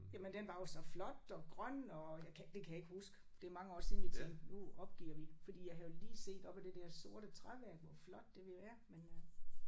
Jamen den var jo så flot og grøn og jeg det kan jeg ikke huske. Det er mange år siden jeg tænkte nu opgiver vi fordi jeg havde jo lige set op ad det der sorte træværk hvor flot det ville være men øh